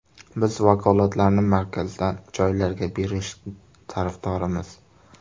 Biz vakolatlarni markazdan joylarga berish tarafdorimiz.